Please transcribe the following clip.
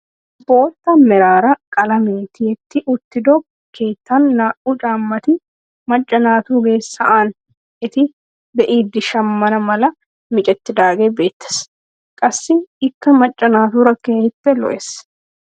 Bootta meraara qalamee tiyetti uttido keettan naa"u caammati maca naatugee sa'an eti be'idi shamana mala micettidagee beettees. qassi ikka macca naatura keehippe lo"ees.